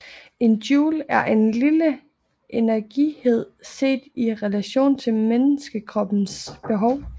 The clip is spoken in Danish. En joule er en lille energienhed set i relation til menneskekroppens behov